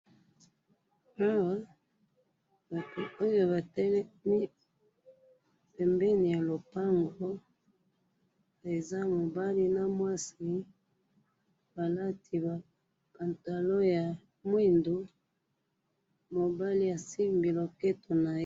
Awa! oyo batelemi pembeni yalopango, eza mobali namwasi, balati ba pantalon ya mwindu, mobali asimbi loketo naye.